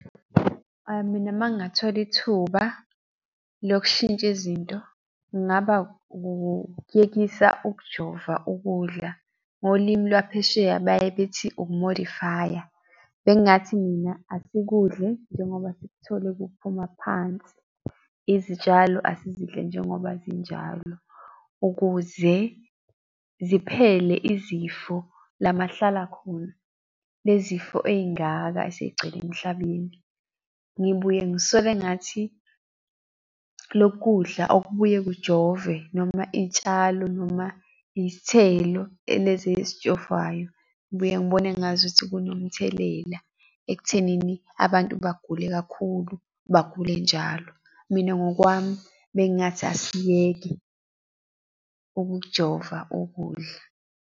Mina uma ngingathola ithuba lokushintsha izinto kungaba ukuyekisa ukujova ukudla, ngolimi lwaphesheya baye bethi ukumodifaya. Bengingathi mina asikudle njengoba sikuthole kuphuma phansi. Izitshalo asizidle njengoba zinjalo ukuze ziphele izifo lama hlala khona, le zifo ey'ngaka esey'gcwele emhlabeni. Ngibuye ngisole engathi loku kudla okubuye kujovwe noma iy'tshalo noma izithelo lezi ezijovwayo, ngibuye ngibone engazukuthi kunomthelela ekuthenini abantu bagule kakhulu, bagule njalo. Mina ngokwami bengingathi asiyeke ukujova ukudla.